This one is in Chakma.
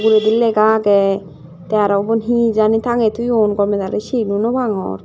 hedi lega age te aro ubon he jani tangge toyoun gomedale cin o nwpang.